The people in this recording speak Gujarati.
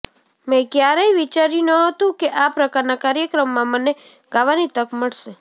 મેં ક્યારેય વિચાર્યું નહોતું કે આ પ્રકારના કાર્યક્રમમાં મને ગાવાની તક મળશે